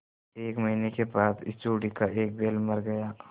एक महीने के बाद इस जोड़ी का एक बैल मर गया